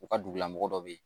U ka dugulamɔgɔ dɔ bɛ yen